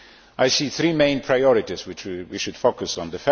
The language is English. I see three main priorities that we should focus on.